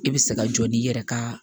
I bɛ se ka jɔ n'i yɛrɛ ka